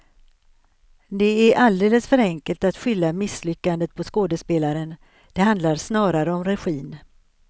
Det är alldeles för enkelt att skylla misslyckandet på skådespelaren, det handlar snarare om regin.